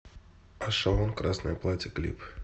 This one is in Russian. ашон красное платье клип